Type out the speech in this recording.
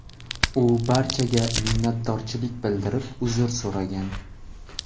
U barchaga minnatdorchilik bildirib uzr so‘ragan.